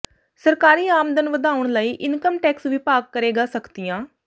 ਸਰਕਾਰੀ ਆਮਦਨ ਵਧਾਉਣ ਲਈ ਇੰਕਮ ਟੈਕਸ ਵਿਭਾਗ ਕਰੇਗਾ ਸਖ਼ਤੀਆਂ